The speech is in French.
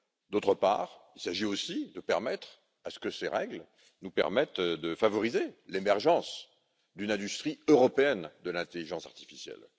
D'autre part, il s'agit aussi de faire en sorte que ces règles nous permettent de favoriser l'émergence d'une industrie européenne de l'intelligence artificielle.